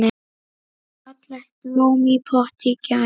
Fallegt blóm í potti grær.